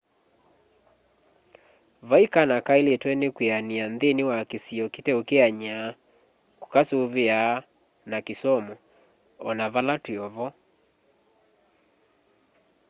vaĩ kana kaĩlĩtwe nĩ kwĩanĩa nthĩnĩ wa kĩsĩo kĩteũkeanya kũkasũvĩa na kĩsomũ onavala twĩovo